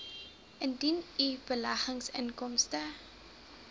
indien u beleggingsinkomste